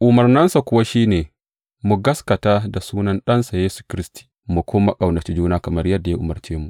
Umarninsa kuwa shi ne, mu gaskata da sunan Ɗansa, Yesu Kiristi, mu kuma ƙaunaci juna kamar yadda ya umarce mu.